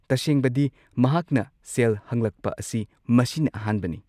ꯇꯁꯦꯡꯕꯗꯤ, ꯃꯍꯥꯛꯅ ꯁꯦꯜ ꯍꯪꯂꯛꯄ ꯑꯁꯤ ꯃꯁꯤꯅ ꯑꯍꯥꯟꯕꯅꯤ꯫